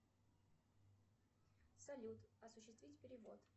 салют осуществить перевод